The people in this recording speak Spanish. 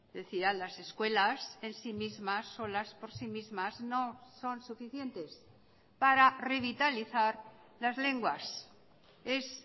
decía las escuelas en sí mismas solas por sí mismas no son suficientes para revitalizar las lenguas es